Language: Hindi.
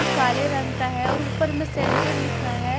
काले रंग का है और ऊपर मे सेंटर लिखा है।